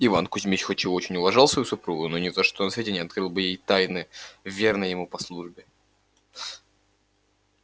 иван кузмич хоть и очень уважал свою супругу но ни за что на свете не открыл бы ей тайны верной ему по службе